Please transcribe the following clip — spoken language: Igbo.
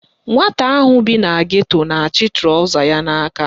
Nwata ahụ bi na geto na-achị trọza ya n'aka